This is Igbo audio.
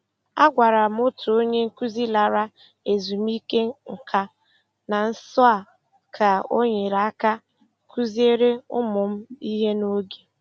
Agwara m otu onye nkuzi lara ezumike nka na nso a ka ọ nyere aka kụziere ụmụ m ihe n'oge.